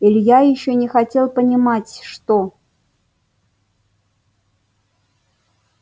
илья ещё не хотел понимать что